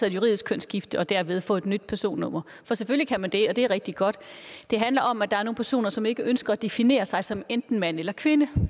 et juridisk kønsskifte og derved få et nyt personnummer for selvfølgelig kan man det og det er rigtig godt det handler om at der er nogle personer som ikke ønsker at definere sig som enten mand eller kvinde